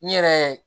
N yɛrɛ